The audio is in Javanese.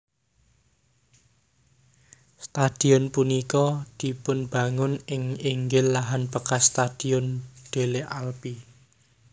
Stadion punika dipunbangun ing inggil lahan bekas Stadion Delle Alpi